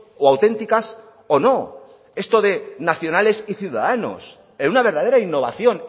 o auténticas o no esto de nacionales y ciudadanos en una verdadera innovación